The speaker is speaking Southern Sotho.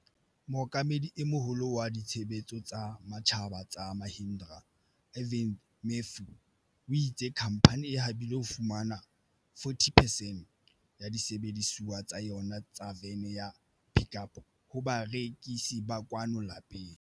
Mookamedi e Moholo wa Ditshebetso tsa Matjhaba tsa Mahindra, Arvind Matthew, o itse khamphane e habile ho fumana 40 percent ya disebedisuwa tsa yona tsa vene ya Pik Up ho barekisi ba kwano lapeng.